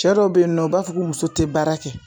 Cɛ dɔw be yen nɔ u b'a fɔ ko muso te baara kɛ